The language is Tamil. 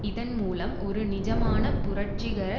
இதன் மூலம் ஒரு நிஜமான புரட்சிகர